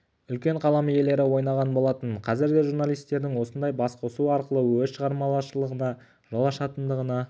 үлкен қалам иелері ойнаған болатын қазір де журналистердің осындай басқосу арқылы өз шығармашылығына жол ашатындығына